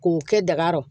K'u kɛ daga kɔrɔ